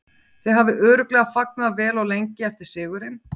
Þið hafið örugglega fagnað vel og lengi eftir sigurinn?